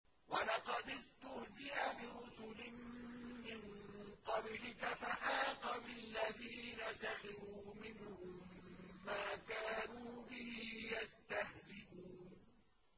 وَلَقَدِ اسْتُهْزِئَ بِرُسُلٍ مِّن قَبْلِكَ فَحَاقَ بِالَّذِينَ سَخِرُوا مِنْهُم مَّا كَانُوا بِهِ يَسْتَهْزِئُونَ